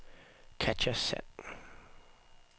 Katja Sand